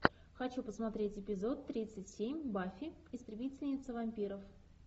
хочу посмотреть эпизод тридцать семь баффи истребительница вампиров